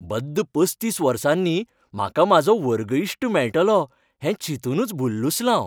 बद्द पसतीस वर्सांनी म्हाका म्हाजो वर्ग इश्ट मेळटलो हें चिंतूनच भुल्लुसलां हांव.